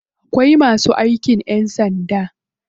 Akwai masu aikin ƴan sanda.